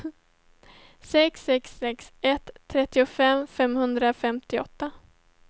sex sex sex ett trettiofem femhundrafemtioåtta